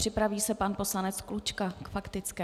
Připraví se pan poslanec Klučka k faktické.